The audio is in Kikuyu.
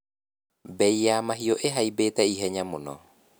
Mbei ya mahiũ ihaimbĩte ihenya mũno.